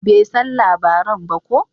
Bai san labaran ba ko?